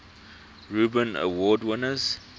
reuben award winners